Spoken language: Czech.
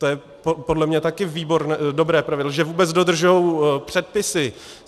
To je podle mě také dobré pravidlo, že vůbec dodržují předpisy.